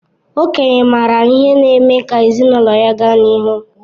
Okenye maara ihe na-eme ka ezinụlọ ga n'ihu